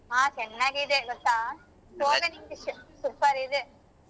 ಹಾ ಚೆನ್ನಾಗ್ ಇದೆ ಗೊತ್ತಾ super ಇದೆ.